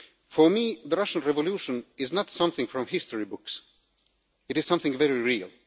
For me, the Russian revolution is not something from history books, it is something very real.